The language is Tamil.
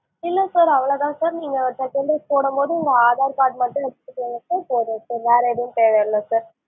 இல்ல sir அவ்வளோதான் sir நீங்க second dose போடும்போது நீங்க aadhar card மட்டும் வச்சுக்கோங்க sir போதும் sir வேற எதுவும் தேவைஇல்ல sir